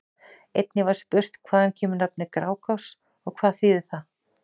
Einnig var spurt: Hvaðan kemur nafnið Grágás og hvað þýðir það?